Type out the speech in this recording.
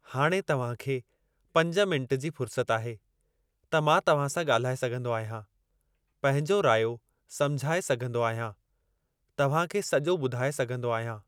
हाणे तव्हां खे पंज मिनट जी फ़ुरसत आहे त मां तव्हां सां ॻाल्हाए सघिंदो आहियां। पंहिंजो रायो समझाए सघिंदो आहियां। तव्हां खे सॼो ॿुधाए सघिंदो आहियां।